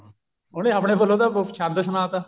ਉਹਨੇ ਆਪਣੇ ਵੱਲੋਂ ਤਾਂ ਛੰਦ ਸੁਣਾ ਤਾ